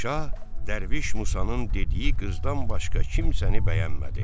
Şah dərviş Musanın dediyi qızdan başqa kimsəni bəyənmədi.